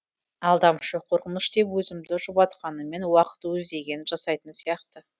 алдамшы қорқыныш деп өзімді жұбатқаныммен уақыт өз дегенін жасайтын сияқты